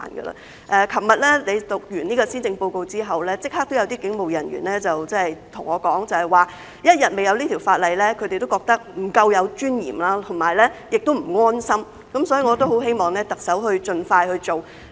昨日你宣讀完施政報告後，立刻有警務人員跟我說，只要一天還未有這項法例，他們仍感覺不夠尊嚴，亦不安心，所以我很希望特首盡快去做。